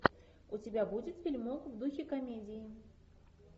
у тебя будет фильмок в духе комедии